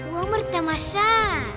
өмір тамаша